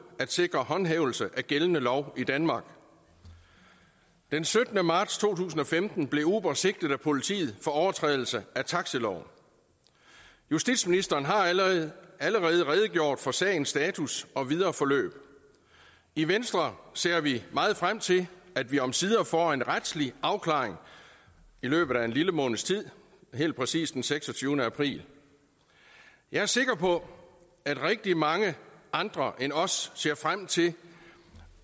at sikre håndhævelse af gældende lov i danmark den syttende marts to tusind og femten blev uber sigtet af politiet for overtrædelse af taxiloven justitsministeren har allerede allerede redegjort for sagens status og videre forløb i venstre ser vi meget frem til at vi omsider får en retslig afklaring i løbet af en lille måneds tid helt præcist den seksogtyvende april jeg er sikker på at rigtig mange andre end os ser frem til